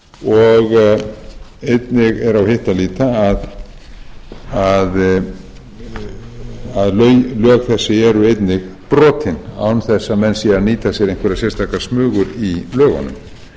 og einnig er á hitt að líta að lög þessi eru einnig brotin án þess að menn séu að nýta sér einhverjar sérstakar smugur í lögunum